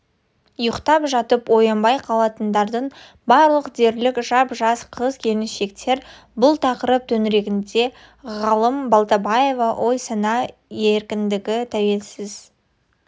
ұйықтап жатып оянбай қалатындардың барлығы дерлік жап-жас қыз-келіншектер бұл тақырып төңірегінде ғалым балтабаева ой-сана еркіндігі тәуелсіз